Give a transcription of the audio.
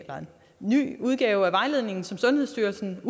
ny udgave af vejledningen som sundhedsstyrelsen